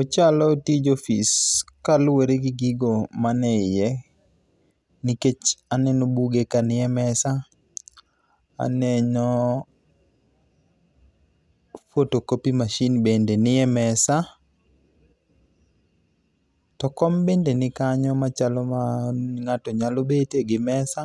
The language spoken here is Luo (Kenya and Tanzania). Ochalo tij ofis kaluwore gi gigo man iye. Nikech aneno buge kanie mesa, aneno photo copying masin bende kanie mesa. To kom bende nikanyo machalo ma ng'ato nyalo betie gi mesa,